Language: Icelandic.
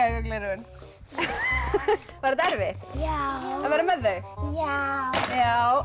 gleraugun var þetta erfitt já að vera með þau já